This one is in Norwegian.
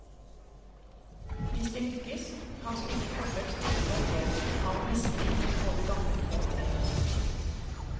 Hvis de lykkes, kan slike forsøk styrke opplevelse av mestring hos både gammel og ung.